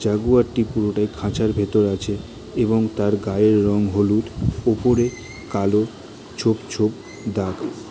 জাগুয়ারটি পুরোটাই খাঁচার ভিতর আছে এবং তার গায়ের রং হলুদ ওপরে কালো ছোপ ছোপ দাগ।